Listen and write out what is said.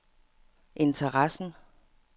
interessen